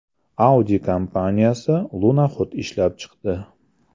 Audi kompaniyasi lunoxod ishlab chiqdi.